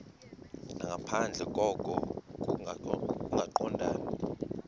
nangaphandle koko kungaqondani